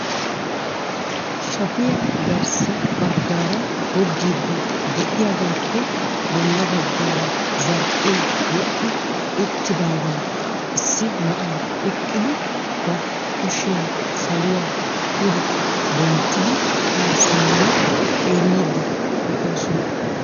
Shaafay garssa baggaara goggiidi de'iyaaagappe bolla baggaara zarphphe wodhdhi uttidaagan issi na'ay eqqidi ba kushiyaan saluwan pide denttidi ha simmi xeellidi de'oosona.